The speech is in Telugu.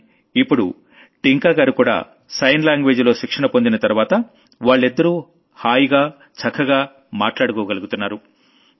కానీ ఇప్పుడు టింకాగారుకూడా సైన్ లాంగ్వేజ్ లో శిక్షణ పొందిన తర్వాత వాళ్లిద్దరూ హాయిగా చక్కగా మాట్లాడుకోగలుగుతున్నారు